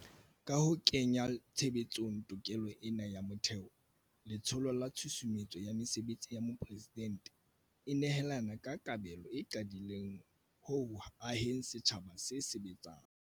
Ka ho kenya tshebetsong tokelo ena ya motheo, Letsholo la Tshusumetso ya Mesebetsi ya Mopresidente e nehela ka kabelo e qaqileng ho aheng setjhaba se sebetsang.